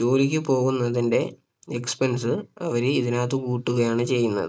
ജോലിക്ക് പോവുന്നതിന്റെ Expense അവര് ഇതിനകത്ത് കൂട്ടുകയാണ് ചെയ്യുന്നത്